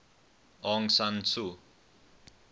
aung san suu